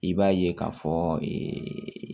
I b'a ye k'a fɔ ee